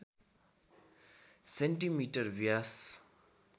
centimetre Vyas